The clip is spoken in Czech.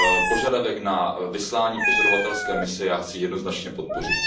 Požadavek na vyslání pozorovatelské mise chci jednoznačně podpořit.